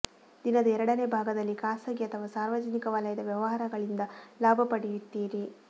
ದಿನದ ಎರಡನೇ ಭಾಗದಲ್ಲಿ ಖಾಸಗಿ ಅಥವಾ ಸಾರ್ವಜನಿಕ ವಲಯದ ವ್ಯವಹಾರಗಳಿಂದ ಲಾಭ ಪಡೆಯುತ್ತೀರಿ